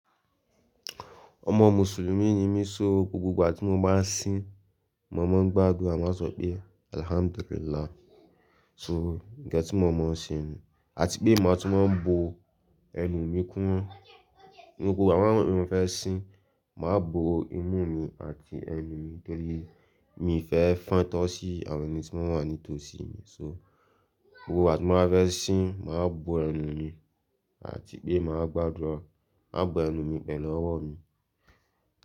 Ọmọ Mùsùlùmí ni mí so gbogbo ìgbà tí mo bá ń sin, mo máa ń gbàdúrà máa sọ pé "Alhamdulillah" so ǹnkan tí mo màá ṣe ni, àti pé màá tún máa ń bo ẹnu mi kúnmo. Ní gbogbo àwọn ìgbà tí mo bá mọ̀ pé mo fẹ́ sin, màá bo imú mi àti ẹnu mi nítorí mi fẹ́ fan tọ́ sí àwọn ẹni tí wọ́n wà nítòsí mi. So gbogbo ìgbà tí mo bá fẹ́ sin, màá bo ẹnu mi, àti pé màá gbàdúrà, màá bo ẹnu mi pẹ̀lú ọwọ́ mi.